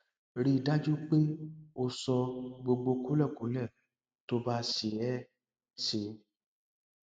rí i dájú pé o sọ gbogbo kúlẹkúlẹ tó bá ṣe é ṣe